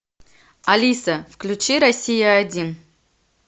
алиса включи россия один